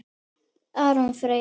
Aron Freyr.